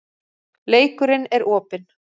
Leikurinn er opinn